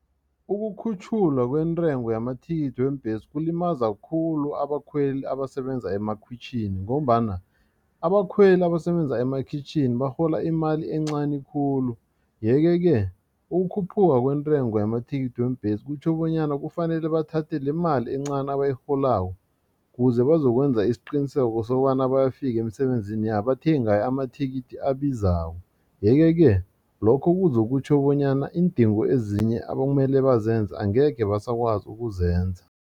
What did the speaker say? Ukukhutjhulwa kwentengo yamathikithi weembhesi kulimaza khulu abakhweli abasebenza emakhitjhini ngombana abakhweli abasebenza emakhitjhini barhola imali encani khulu. Yeke-ke ukukhuphuka kwentengo yamathikithi weembhesi kutjho bonyana kufanele bathathe lemali encani abayirholako kuze bazokwenza isiqiniseko sokobana bayafika emisebenzini yabo bathenge ngayo amathikithi abizako yeke ke lokho kuzokutjho bonyana iindingo ezinye abekumele bazenza angekhe basakwazi ukuzenza.